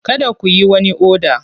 Kada ku yi wani oda!